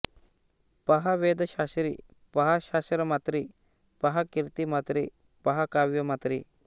पहा वेदशास्त्री पहा शास्त्रमात्री पहा कीर्तिमात्री पहा काव्यमात्री